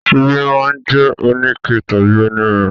Ṣíbí máa jẹ́ oníke tàbí onírin.